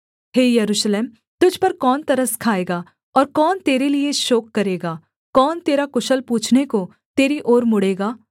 हे यरूशलेम तुझ पर कौन तरस खाएगा और कौन तेरे लिये शोक करेगा कौन तेरा कुशल पूछने को तेरी ओर मुड़ेगा